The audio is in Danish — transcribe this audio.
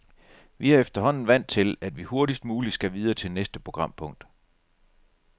Vi er efterhånden vant til, at vi hurtigst muligt skal videre til næste programpunkt.